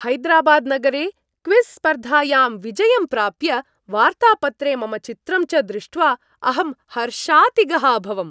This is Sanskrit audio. हैदराबाद् नगरे क्विज़् स्पर्धायां विजयं प्राप्य, वार्तापत्रे मम चित्रं च दृष्ट्वा अहं हर्षातिगः अभवम्।